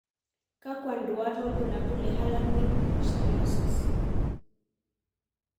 Kakw nduat wobulabul le Harlequin ichthyosis?